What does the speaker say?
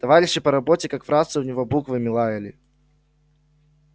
товарищи по работе как в рацию в него буквами лаяли